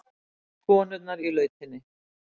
Konurnar í lautinni.